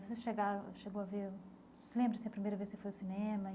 Você chegaram chegou a ver... Se lembra se a primeira vez que você foi ao cinema?